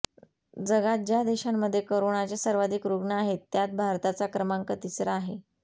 जगात ज्या देशांमध्ये करोनाचे सर्वाधिक रुग्ण आहेत त्यात भारताचा क्रमांक तिसरा आहे